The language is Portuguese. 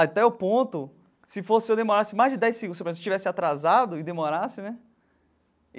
Até o ponto, se fosse eu e demorasse mais de dez segundos, se eu tivesse atrasado e demorasse, né?